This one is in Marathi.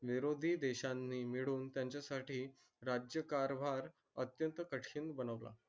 विरोधी देशांनी मिळून त्याच्या साठी राज्यकारभार अतयंत कठीण बनवला